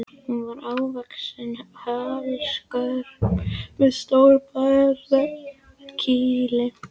Hún var hávaxin, holdskörp og með stórt barkakýli.